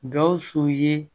Gawusu ye